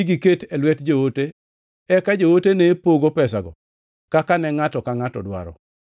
giket e lwet joote eka joote ne pogo pesago kaka ne ngʼato ka ngʼato dwaro.